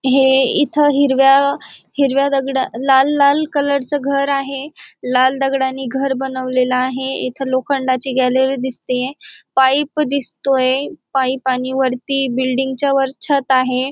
हे इथं हिरव्या हिरव्या दगडा लाल लाल कलर चे घर आहे. लाल दगडानी घर बनवलेल आहे. इथं लोखंडाची गॅलरी दिसतेय. पाईप दिसतोय. पाईप आणि वरती बिल्डिंगच्या वर छत आहे.